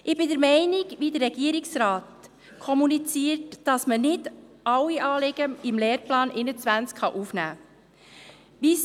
Ich bin derselben Meinung, die der Regierungsrat kommuniziert, nämlich, dass man nicht alle Anliegen in den Lehrplan 21 aufnehmen kann.